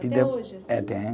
Até hoje, assim. É, tem